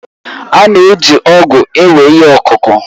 A na-eji ọ̀gu ewe ihe ọkụkụ